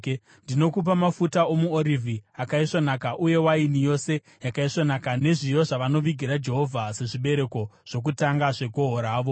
“Ndinokupa mafuta omuorivhi akaisvonaka uye waini yose yakaisvonaka nezviyo zvavanovigira Jehovha sezvibereko zvokutanga zvegohwo ravo.